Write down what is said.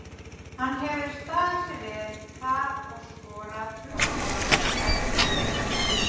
Hann hefur staðið sig vel þar og skorað þrjú mörk í ellefu leikjum.